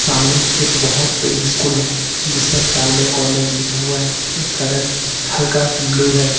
सामने एक बहोत बड़ी स्कूल है जिस पर कार्मल कन्वेंट लिखा हुआ है इसका रंग हल्का ब्लू है।